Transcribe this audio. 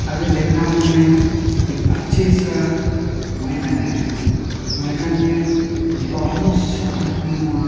आगे देख रहा हूँ मैं एक अच्छी सा मैदान है। मैदान में बहोत सा आदमी वहाँ --